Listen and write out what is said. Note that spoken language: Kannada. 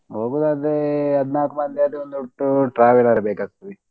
ಹೋಗುದಾದ್ರೆ ಹದ್ನಾಲ್ಕ್ ಮಂದಿ ಆದ್ರೆ ಒಂದು ಒಟ್ಟು traveler ಬೇಕಾಗ್ತದೆ.